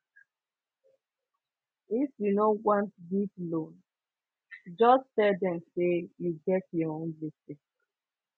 if you no want give loan just tell dem sey you get your own gbese